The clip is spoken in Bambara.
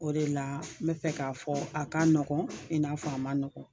O de la n bɛ fɛ k'a fɔ a ka nɔgɔn i n'a fɔ a man nɔgɔn